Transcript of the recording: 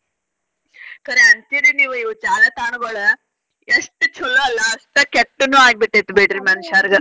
ಖರೆ ಅಂತೀರಿ ನೀವು ಇವ್ ಜಾಲತಾಣಗೊಳ ಎಷ್ಟ್ ಚೊಲೋ ಅಲ್ಲಾ ಅಷ್ಟ ಕೆಟ್ಟನು ಆಗಿ ಬಿಟೈತಿ ಬಿಡ್ರಿ ಮನಷ್ಯಾರರ್ಗದ್.